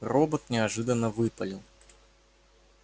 робот неожиданно выпалил